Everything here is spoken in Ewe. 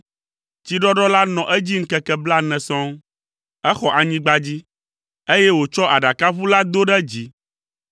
Tsiɖɔɖɔ la nɔ edzi ŋkeke blaene sɔŋ. Exɔ anyigba dzi, eye wòtsɔ aɖakaʋu la do ɖe dzi.